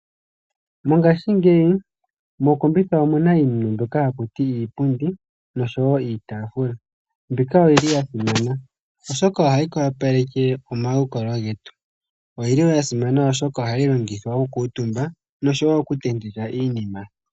Mongaashingeyi mokombitha omuna iinima mbyoka haku tiwa iipundi, noshowo iitaafula. Iinima mbika oyi li ya simana, oshoka ohayi wapaleke omalukalwa getu. Oyi li wo ya simana oshoka ohayi longithwa okukuuntumba, noshowo okutentekwa iinima.